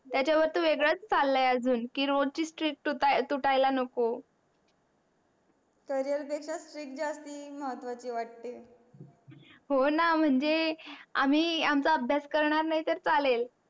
त्याच्या वरती वेगडच चालय अजून की रोजची street तूटायला नको career पेक्षा street जास्ती महत्वाची वाटते. होणा म्हणजे आम्ही आमच्या अभ्यास करणार नाही तर चालेल